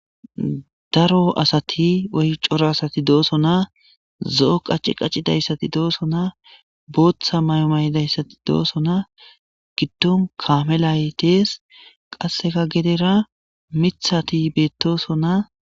daro asati oy coro asati dooso naa zo7o qacci qaccidayssati dooso naa booththa may7omaydayssati dooso naa giddon kaame laytees qasseka gedera mithati beettoso na